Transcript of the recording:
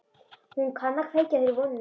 Hún kann að kveikja þér vonina.